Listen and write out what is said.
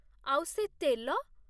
ଆଉ ସେ ତେଲ!